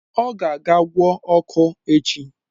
Ọ ga-aga gwọọ ọkụ echi